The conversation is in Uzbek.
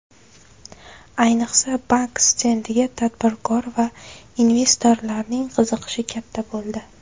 Ayniqsa, bank stendiga tadbirkor va investorlarning qiziqishi katta bo‘ldi.